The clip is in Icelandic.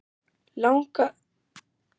Hann spurði: Langar þig að stefna á toppinn?